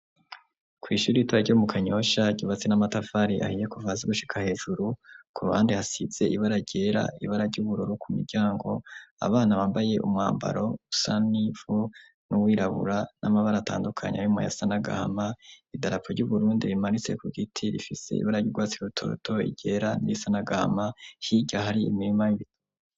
Kw'ishuri itura ry' mu kanyosha gibatsi n'amatafari ahiye ku vazi gushika hejuru ku ruhandi hasitze ibara gera ibara ry'ubururu ku miryango abana bambaye umwambaro usanifu n'uwirabura n'amabara atandukanye abimo ya sanagahama idarapu ry'uburundi rimanitse ku giti rifise ibara ryirwatsi irutoto igera n'isanagahama higo hari imirima y'ibiti.